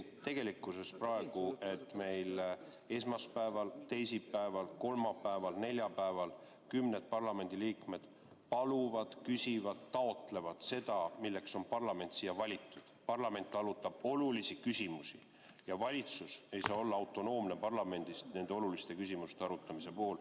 Tegelikkus on, et meil praegu, esmaspäeval, teisipäeval, kolmapäeval, neljapäeval kümned parlamendiliikmed paluvad, küsivad, taotlevad seda, milleks parlament on siia valitud – parlament arutab olulisi küsimusi ja valitsus ei saa olla autonoomne, parlamendist nende oluliste küsimuste arutamise puhul.